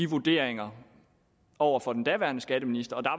vurderingerne over for den daværende skatteminister og